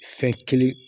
Fɛn kelen